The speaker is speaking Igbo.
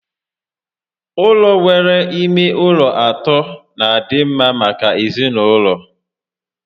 Ụlọ nwere ime ụlọ atọ n'adị mma maka ezinaụlọ